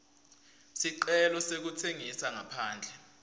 sicelo sekutsengisa ngaphandle